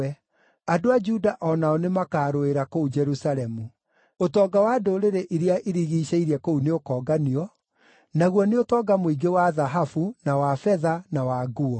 Andũ a Juda o nao nĩmakarũĩra kũu Jerusalemu. Ũtonga wa ndũrĩrĩ iria irigiicĩirie kũu nĩũkonganio, naguo nĩ ũtonga mũingĩ wa thahabu, na wa betha na wa nguo.